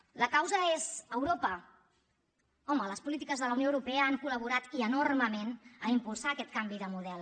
la causa és europa home les polítiques de la unió europea han col·laborat i enormement a impulsar aquest canvi de model